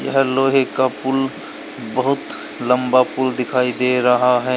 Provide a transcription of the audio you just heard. तथा लोहे का पुल बहुत लंबा पुल दिखाई दे रहा है।